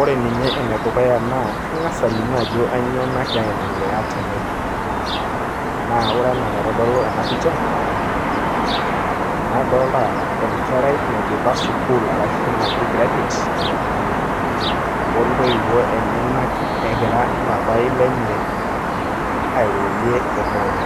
ore ninye ene dukuya naa kang'as alimu ajo kainyioo nagira aendelea tene. naa ore anaa enaitodolu ena picha, nadoolta enkerai naidipa sukuul, arshu naji graduate o tooiwuo enyenak egira papai lenye, airorie olorere.